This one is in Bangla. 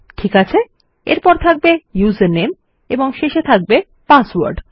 ঠিকাছে এরপর থাকবে উসের নামে এবং শেষ টি হবে পাসওয়ার্ড